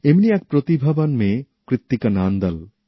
এমনি এক প্রতিভাবান মেয়ে কৃত্তিকা নান্দল